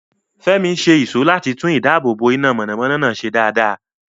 Fẹ́mi ṣe ìṣó láti tún ìdáàbòbò iná mọ̀nàmọ́ná náà ṣe dáadáa.